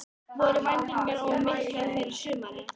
Stundum er lofti blandað í skolvökvann til að létta hann.